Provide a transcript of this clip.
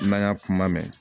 N'an y'a kuma mɛn